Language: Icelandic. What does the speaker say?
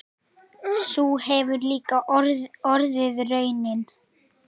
Sú hefur líka orðið raunin.